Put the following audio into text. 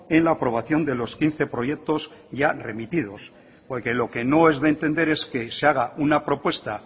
en la aprobación de los quince proyectos ya remitidos porque lo que no es de entender es que se haga una propuesta